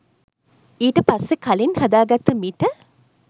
ඊට පස්සෙ කලින් හදාගත්ත මිට